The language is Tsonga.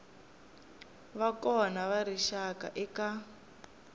va kona ka rixaka eka